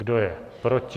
Kdo je proti?